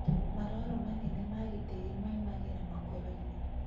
Maroro manene magĩtĩri maimagĩra makoroinĩ